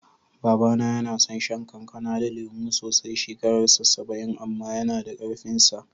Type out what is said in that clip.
Baba na yana son shan kankana da lemu sosai, shekarar sa saba'in amma yana da ƙarfin sa.